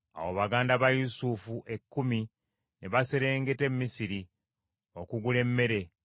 Awo baganda ba Yusufu ekkumi ne baserengeta e Misiri okugula emmere.